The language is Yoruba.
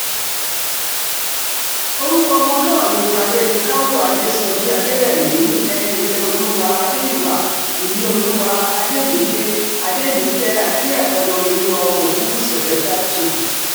orúkọ ọmọ náà ni tádéníkàwọ́ adéṣọ́jí adẹ̀rẹ̀mí ẹ̀ríìfẹ́olúwà adé-ìwà ìníolúwá àdèmídé àdèmítẹ díẹ̀kọlóoreolúwa ọmọ ogunwúsì ọ̀nájà two